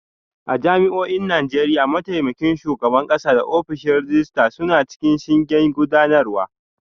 A jami'o'in Najeriya, mataimakin shugaban kasa da ofishin rejista suna cikin shingen gudanarwa